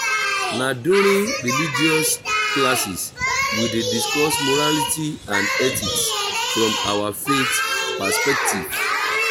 na during religious classes we dey discuss morality and ethics from our faith perspective.